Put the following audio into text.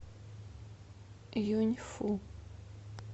юньфу